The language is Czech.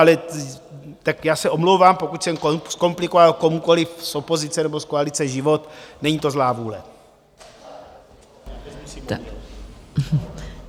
Ale tak já se omlouvám, pokud jsem zkomplikoval komukoliv z opozice nebo z koalice život, není to zlá vůle.